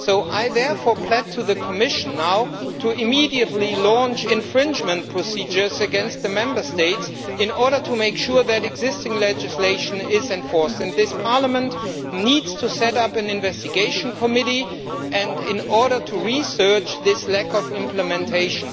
I therefore plead to the Commission to immediately launch infringement procedures against Member States in order to make sure that existing legislation is enforced. This Parliament needs to set up an investigative committee to look into this lack of implementation.